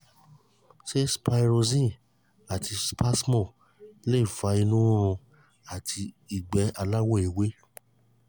ṣé sproxyne àti spasmo lè fa inu rirun ati igbe alawo ewe ewe